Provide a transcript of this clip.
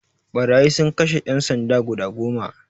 Ɓarayi sun kashe ƴan sanda guda goma